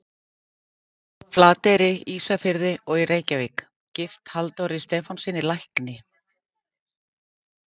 Flateyri, Ísafirði og í Reykjavík, gift Halldóri Stefánssyni lækni.